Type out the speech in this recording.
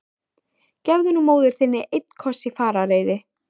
Gefðu nú móður þinni einn koss í farareyri!